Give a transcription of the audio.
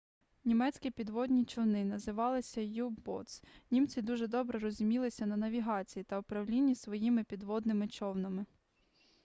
німецькі підводні човни називалися u-boats німці дуже добре розумілися на навігації та управлінні своїми підводними човнами